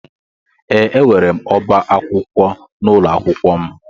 Ee, enwere m ọbá akwụkwọ n'ụlọ akwụkwọ m.